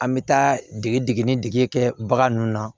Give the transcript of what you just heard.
An bɛ taa dege dege ni dege kɛ bagan ninnu na